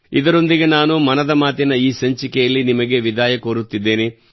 ಇದರೊಂದಿಗೆ ನಾನು ಮನದ ಮಾತಿನ ಈ ಸಂಚಿಕೆಯಲ್ಲಿ ನಿಮಗೆ ವಿದಾಯ ಕೋರುತ್ತಿದ್ದೇನೆ